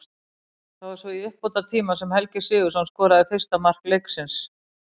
Það var svo í uppbótartíma sem Helgi Sigurðsson skoraði fyrsta mark leiksins.